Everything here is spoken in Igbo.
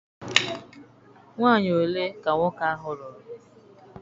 Nwaanyi ole ka nwoke ahụ lụrụ?